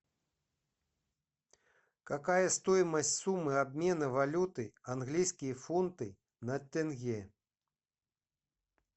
какая стоимость суммы обмена валюты английские фунты на тенге